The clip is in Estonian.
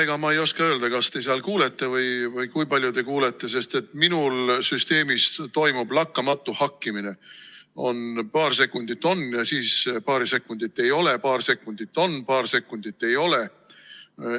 Ega ma ei oska öelda, kas te seal kuulete mind või kui palju te kuulete, sest minul süsteemis toimub lakkamatu hakkimine: paar sekundit on ja siis paar sekundit ei ole, paar sekundit on, paar sekundit ei ole.